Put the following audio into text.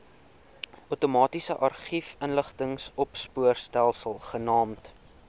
outomatiese argiefinligtingsopspoorstelsel genaamd